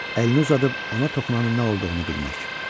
Əlini uzadıb ona toxunanın nə olduğunu bilmək.